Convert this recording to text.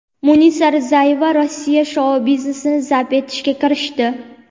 Munisa Rizayeva Rossiya shou-biznesini zabt etishga kirishdi.